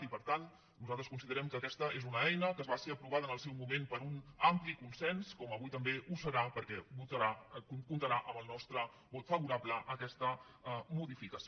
i per tant nosaltres considerem que aquesta és una eina que va ser aprovada en el seu moment per un ampli consens com avui també ho serà perquè comptarà amb el nostre vot favorable a aquesta modificació